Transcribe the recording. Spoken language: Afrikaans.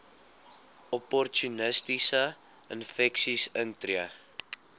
opportunistiese infeksies intree